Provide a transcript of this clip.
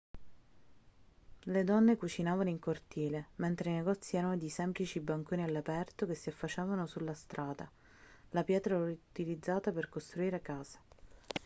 le donne cucinavano in cortile mentre i negozi erano dei semplici banconi all'aperto che si affacciavano sulla strada la pietra era utilizzata per costruire case